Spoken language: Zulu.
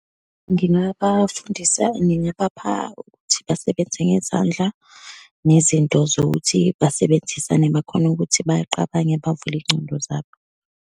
Ngingabafundisa, ngingabapha ukuthi basebenze ngezandla, nezinto zokuthi basebenzisane, bakhone ukuthi baqabange, bavule iy'ngcondo zabo.